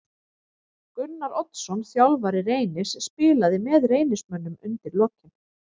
Gunnar Oddsson þjálfari Reynis spilaði með Reynismönnum undir lokin.